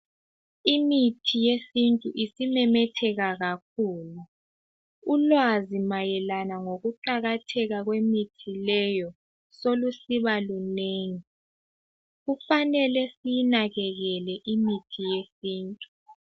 Imithi yesintu isimemetheka kakhulu. Ulwazi mayelana ngokuqakatheka kwemithi leyobselusiba lunengi. Kufanele siyinakekele imithi yesintu.